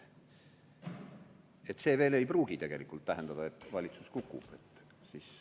Ega see veel ei pruugi tähendada, et valitsus kukub.